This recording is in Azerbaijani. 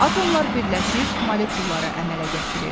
Atomlar birləşib molekulları əmələ gətirir.